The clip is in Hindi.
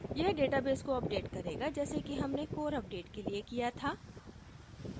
यह database को अपडेट करेगा जैसे कि हमने core अपडेट के लिए किया था